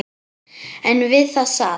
En við það sat.